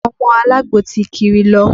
Àwọn ọmọ alagbo ti kiri lọ